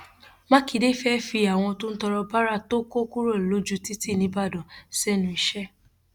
mákindé fẹẹ fi àwọn tó ń tọrọ báárà tó kó kúrò lójú títì nìbàdàn sẹnu iṣẹ